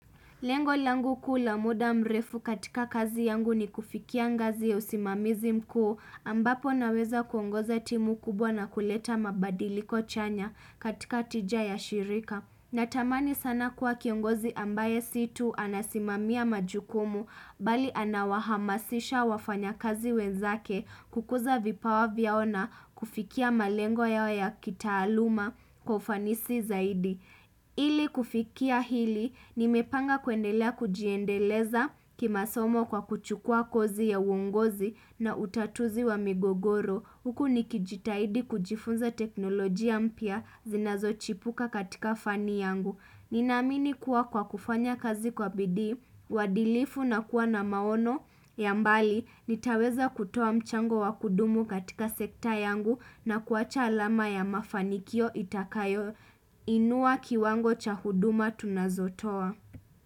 Lengo langu kuu la muda mrefu katika kazi yangu ni kufikia ngazi ya usimamizi mkuu, ambapo naweza kuongoza timu kubwa na kuleta mabadiliko chanya, katika tija ya shirika. Natamani sana kuwa kiongozi ambaye si tu, anasimamia majukumu, bali anawahamasisha wafanya kazi wenzake, kukuza vipawa vyao na kufikia malengo yao ya kitaaluma kwa ufanisi zaidi. Ili kufikia hili, nimepanga kuendelea kujiendeleza kimasomo kwa kuchukua kozi ya uongozi na utatuzi wa migogoro. Huku nikijitahidi kujifunza teknolojia mpia, zinazo chipuka katika fani yangu. Nina amini kuwa kwa kufanya kazi kwa bidi, wadilifu na kuwa na maono ya mbali, nitaweza kutoa mchango wa kudumu katika sekta yangu na kuacha alama ya mafanikio itakayo. Inua kiwango cha huduma tunazo toa.